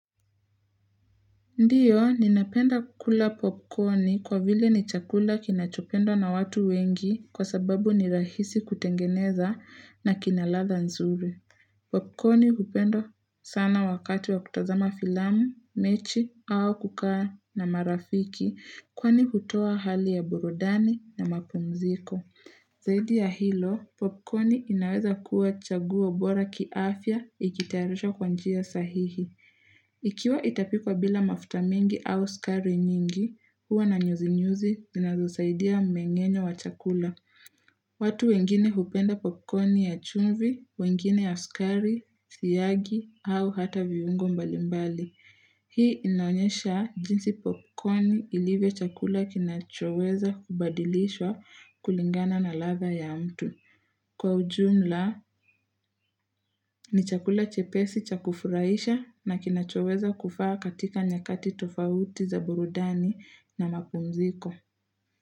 Ndiyo, ninapenda kukula popcorni kwa vile ni chakula kinachopendwa na watu wengi kwa sababu ni rahisi kutengeneza na kina ladha nzuri. Popcorni hupendwa sana wakati wa kutazama filamu, mechi au kukaa na marafiki kwani hutoa hali ya burudani na mapumziko. Zaidi ya hilo, popcorni inaweza kuwa chaguo bora kiafya ikitayarishwa kwa njia sahihi. Ikiwa itapikwa bila mafuta mingi au sukari nyingi, huwa na nyuzi nyuzi zinazosaidia mmeng'enyo wa chakula. Watu wengine hupenda popcorni ya chumvi, wengine ya sukari, siagi au hata viungo mbalimbali. Hii inaonyesha jinsi popcorni ilivyo chakula kinachoweza kubadilishwa kulingana na ladha ya mtu. Kwa ujumla, ni chakula chepesi cha kufurahisha na kinachoweza kufaa katika nyakati tofauti za burudani na mapumziko.